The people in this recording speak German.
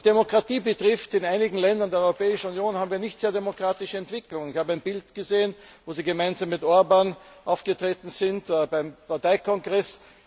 Was Demokratie betrifft In einigen Ländern der Europäischen Union haben wir nicht sehr demokratische Entwicklungen. Ich habe ein Bild gesehen, wo Sie gemeinsam mit Viktor Orbán aufgetreten sind beim Parteikongress.